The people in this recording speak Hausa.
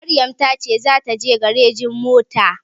Maryam ta ce za ta je garejin mota